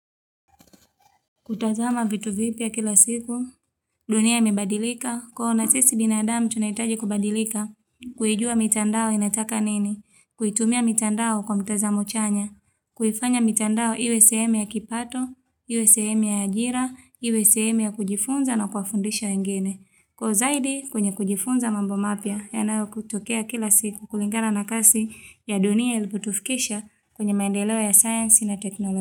Kutazama vitu vipya kila siku, dunia imebadilika, kwo na sisi binadamu tunahitaji kubadilika, kuijua mitandao inataka nini, kuitumia mitandao kwa mtazamo chanya, kuifanya mitandao iwe sehemu ya kipato, iwe sehemu ya ajira, iwe sehemu ya kujifunza na kuwafundisha wengine, kwa uzaidi kwenye kujifunza mambo mapya, yanayotokea kila siku kulingana na kasi ya dunia ilipotufikisha kwenye maendeleo ya sayasnsi na teknolojia.